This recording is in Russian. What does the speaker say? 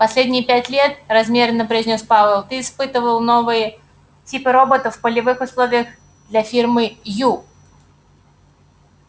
последние пять лет размеренно произнёс пауэлл ты испытывал новые типы роботов в полевых условиях для фирмы ю